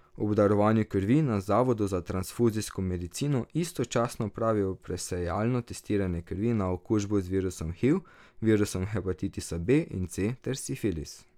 Ob darovanju krvi na zavodu za transfuzijsko medicino istočasno opravijo presejalno testiranje krvi na okužbo z virusom hiv, virusom hepatitisa B in C ter sifilis.